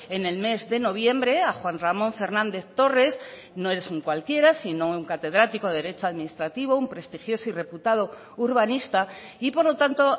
en el mes de noviembre a juan ramón fernández torres no es un cualquiera sino un catedrático de derecho administrativo un prestigioso y reputado urbanista y por lo tanto